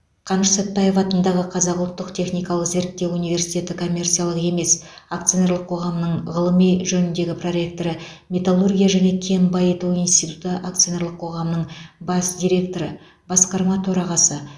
қаныш сәтбаев атындағы қазақ ұлттық техникалық зерттеу университеті коммерциялық емес акционерлік қоғамының ғылыми жөніндегі проректоры металлургия және кен байыту институты акционерлік қоғамының бас директоры басқарма төрағасы